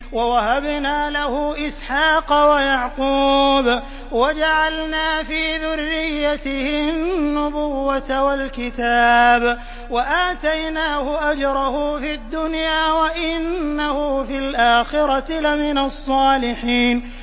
وَوَهَبْنَا لَهُ إِسْحَاقَ وَيَعْقُوبَ وَجَعَلْنَا فِي ذُرِّيَّتِهِ النُّبُوَّةَ وَالْكِتَابَ وَآتَيْنَاهُ أَجْرَهُ فِي الدُّنْيَا ۖ وَإِنَّهُ فِي الْآخِرَةِ لَمِنَ الصَّالِحِينَ